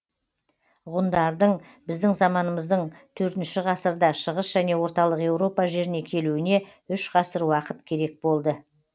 ғұндардың біздің заманымыздың төртінші ғасырда шығыс және орталық еуропа жеріне келуіне үш ғасыр уақыт керек болды